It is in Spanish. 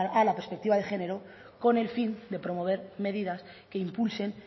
a la perspectiva de género con el fin de promover medidas que impulsen